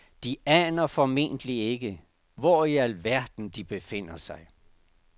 De aner formentlig ikke, hvor i al verden de befinder sig.